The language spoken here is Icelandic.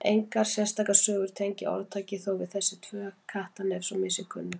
Engar sérstakar sögur tengja orðtakið þó við þessi tvö Kattarnef svo mér sé kunnugt.